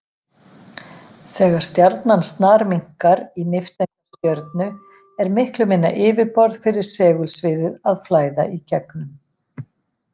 Þegar stjarnan snarminnkar í nifteindastjörnu er miklu minna yfirborð fyrir segulsviðið að flæða í gegnum.